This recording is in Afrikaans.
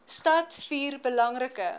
stad vier belangrike